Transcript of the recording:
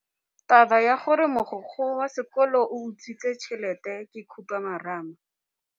Taba ya gore mogokgo wa sekolo o utswitse tšhelete ke khupamarama.